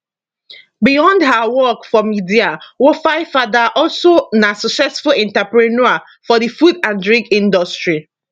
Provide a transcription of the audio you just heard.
beyond her work for media wofaifada also na successful entrepreneur for di food and drink industry